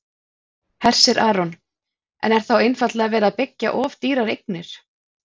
Hersir Aron: En er þá einfaldlega verið að byggja of dýrar eignir?